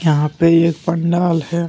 यहां पे एक पंडाल है।